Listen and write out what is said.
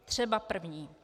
Třeba první.